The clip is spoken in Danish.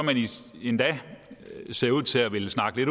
endda ser ud til at ville snakke